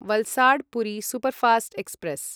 Valsad Puri superfast express